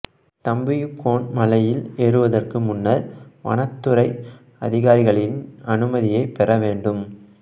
தம்புயுக்கோன் மலையில் ஏறுவதற்கு முன்னர் வனத்துறை அதிகாரிகளின் அனுமதியைப் பெற வேண்டும்